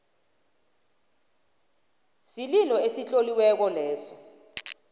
isililo esitloliweko leso